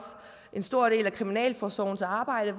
en stor del af kriminalforsorgens arbejde